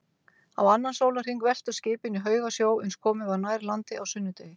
Á annan sólarhring veltust skipin í haugasjó, uns komið var nær landi á sunnudegi.